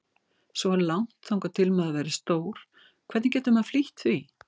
Svo langt þangað til maður verður stór, hvernig getur maður flýtt því?